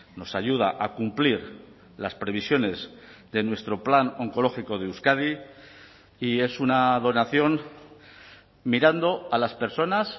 nos ayuda a cumplir las previsiones de nuestro plan oncológico de euskadi y es una donación mirando a las personas